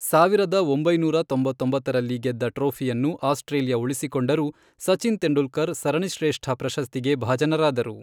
ಸಾವಿರದ ಒಂಬೈನೂರ ತೊಂಬತ್ತೊಂಬತ್ತರಲ್ಲಿ ಗೆದ್ದ ಟ್ರೋಫಿಯನ್ನು ಆಸ್ಟ್ರೇಲಿಯಾ ಉಳಿಸಿಕೊಂಡರೂ, ಸಚಿನ್ ತೆಂಡೂಲ್ಕರ್ ಸರಣಿಶ್ರೇಷ್ಠ ಪ್ರಶಸ್ತಿಗೆ ಭಾಜನರಾದರು.